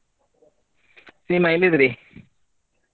ಸೀಮಾ ಎಲ್ಲಿದ್ದೀರಿ?